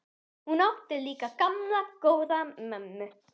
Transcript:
Hún átti líka gamla, góða mömmu.